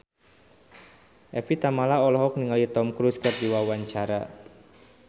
Evie Tamala olohok ningali Tom Cruise keur diwawancara